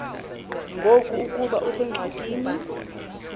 ngoku ukuba usengxakini